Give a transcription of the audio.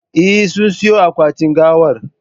Eh, sun siyon akwatin gawar